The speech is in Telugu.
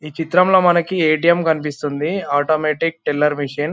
ఈ చిత్రంలో మనకీ ఏ_టి_ఎమ్ కనిపిస్తుంది. Automatic teller machine .